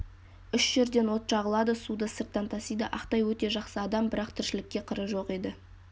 үш жерден от жағылады суды сырттан тасиды ақтай өте жақсы адам бірақ тіршілікке қыры жоқ еді